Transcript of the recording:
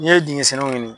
N'i ye dingɛ senniw ɲini